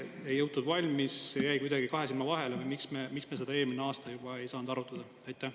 Kas varem ei jõutud valmis, jäi see kuidagi kahe silma vahele või miks me ei saanud seda eelnõu juba eelmisel aastal arutada?